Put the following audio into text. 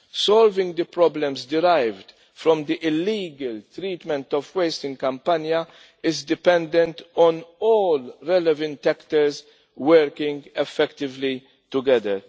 Solving the problems derived from the illegal treatment of waste in Campania is dependent on all relevant actors working effectively together.